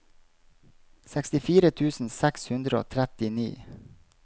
sekstifire tusen seks hundre og trettini